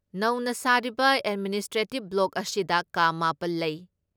ꯅꯧꯅ ꯁꯥꯔꯤꯕ administrative block ꯑꯁꯤꯗ ꯀꯥ ꯃꯥꯄꯜ ꯂꯩ ꯫